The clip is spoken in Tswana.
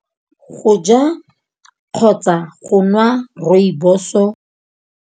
Go ja kgotsa go nwa Rooibos-o.